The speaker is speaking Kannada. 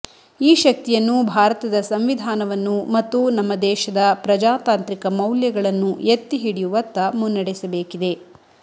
ಈ ಶಕ್ತಿಯನ್ನು ಭಾರತದ ಸಂವಿಧಾನವನ್ನು ಮತ್ತು ನಮ್ಮ ದೇಶದ ಪ್ರಜಾತಾಂತ್ರಿಕ ಮೌಲ್ಯಗಳನ್ನು ಎತ್ತಿಹಿಡಿಯುವತ್ತ ಮುನ್ನೆಡಸಬೇಕಿದೆ